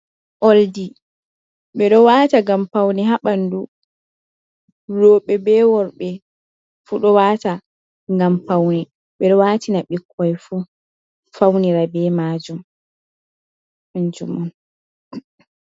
Oldi ɓe ɗo wata ngam pauni habandu robe be worbe fu ɗo wata gam pauni ɓe ɗo watina ɓikkoi fu faunira be majum anju mon.